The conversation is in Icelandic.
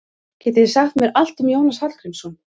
Getið þið sagt mér allt um Jónas Hallgrímsson?